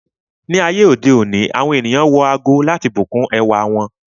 Ni ayé òde òní, àwọn ènìyàn wọ ago láti bùkún ẹwà wọn.